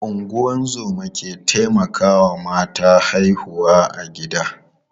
Ungozoma ke taimakawa mata haihuwa a gida.